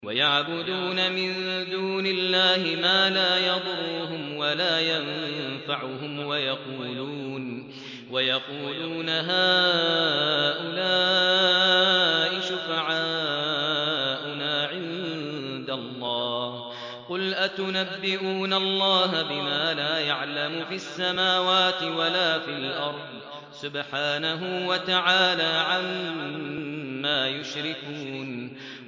وَيَعْبُدُونَ مِن دُونِ اللَّهِ مَا لَا يَضُرُّهُمْ وَلَا يَنفَعُهُمْ وَيَقُولُونَ هَٰؤُلَاءِ شُفَعَاؤُنَا عِندَ اللَّهِ ۚ قُلْ أَتُنَبِّئُونَ اللَّهَ بِمَا لَا يَعْلَمُ فِي السَّمَاوَاتِ وَلَا فِي الْأَرْضِ ۚ سُبْحَانَهُ وَتَعَالَىٰ عَمَّا يُشْرِكُونَ